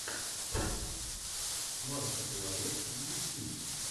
марки плайер в ютьюбе